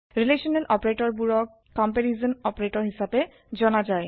relational operator বোৰক comparison operator হিছাপে জনা যায়